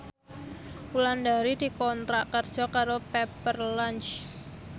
Wulandari dikontrak kerja karo Pepper Lunch